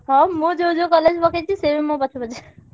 ହଁ ମୁଁ ଯୋଉ ଯୋଉ college ପକେଇଛି ସିଏ ବି ମୋ ପଛେ ପଛେ